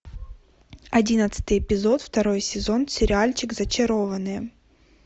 одиннадцатый эпизод второй сезон сериальчик зачарованные